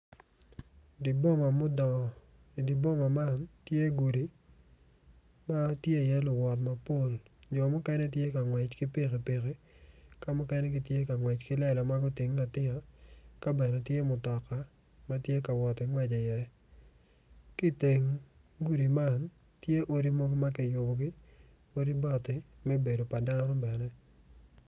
Di boma mudongo i di boma man tye gudi ma tye iye luwot mapol jo mukene tye ka ngwec ki pikipiki ka mukene gitye ka ngwec ki lela ma gutinge atinga ka bene tye mutoka ma tye ka woti ngwec iye ki iteng gudi man tye odi mogo ma kiyubugi odi bati me bedo pa dano bene